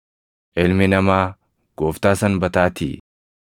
Ilmi Namaa Gooftaa Sanbataatii.”